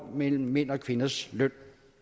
mellem mænds og kvinders løn